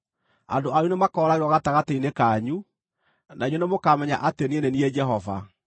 Andũ anyu nĩmakooragĩrwo gatagatĩ-inĩ kanyu, na inyuĩ nĩmũkamenya atĩ niĩ nĩ niĩ Jehova.